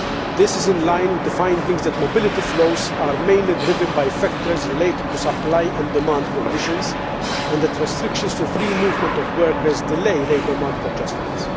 This is in line with the findings that mobility flows are mainly driven by factors related to supply and demand conditions and that restrictions to free movement of workers delay labour market adjustments.